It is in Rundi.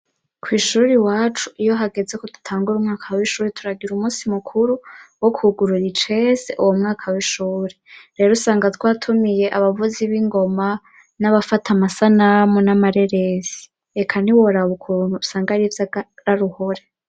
kw'ishuri iwacu iyo hageze ko dutangura umwaka w'ishuri turagira umunsi mukuru wo kugurura icese uwomwaka w'ishuri rero usanga twatumiye abavuzi b'ingoma n'abafata amasanamu n'amareresi reka niworabukuntu usanga arivyakararuhore